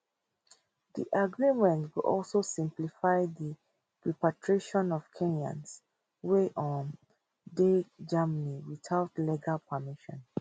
di agreement go also simplify di repatriation of kenyans wey um dey germany without legal permission